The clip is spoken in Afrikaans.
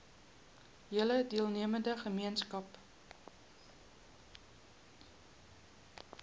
hele deelnemende gemeenskap